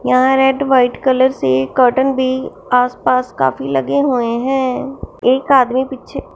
यहां red white colour से cotton भी आसपास काफी लगे हुए हैं एक आदमी पीछे--